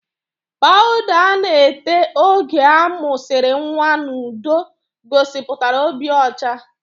Pawuda a na-ete oge amụsiri nwa n'udo gosipụtara obi ọcha